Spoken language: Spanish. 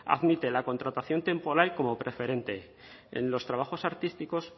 admite la contratación temporal como preferente en los trabajos artísticos